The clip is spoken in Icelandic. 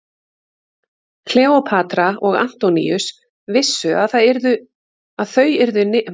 Kleópatra og Antoníus vissu að þau yrðu niðurlægð og myndu missa forréttindi sín í Alexandríu.